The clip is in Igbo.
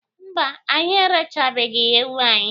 Mba, anyị erechabeghị ewu anyị.